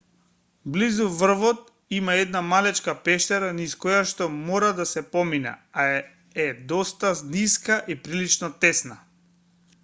близу врвот има една малечка пештера низ којашто мора да се помине а е доста ниска и прилично тесна